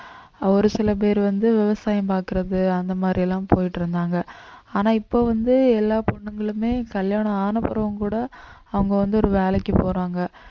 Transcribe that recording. ஒரு சில பேர் வந்து விவசாயம் பார்க்கிறது அந்த மாதிரி எல்லாம் போயிட்டு இருந்தாங்க ஆனா இப்போ வந்து எல்லா பொண்ணுங்களுமே கல்யாணம் ஆன பிறகும் கூட அவங்க வந்து ஒரு வேலைக்கு போறாங்க